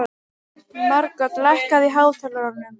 Margot, lækkaðu í hátalaranum.